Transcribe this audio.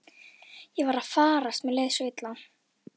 Ég var að farast, mér leið svo illa.